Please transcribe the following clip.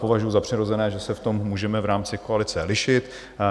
Považuju za přirozené, že se v tom můžeme v rámci koalice lišit.